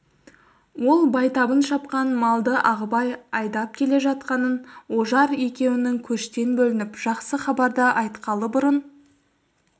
ол байтабын шапқан малды ағыбай айдап келе жатқанын ожар екеуінің көштен бөлініп жақсы хабарды айтқалы бұрын